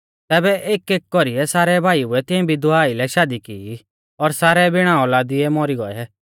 तैबै एकएक कौरीऐ सारै भाईउऐ तिंऐ विधवा आइलै शादी की और सारै बिणा औलादीऐ मौरी गौऐ